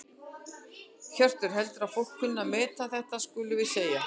Hjörtur: Heldurðu að fólk kunni að meta þetta skulum við segja?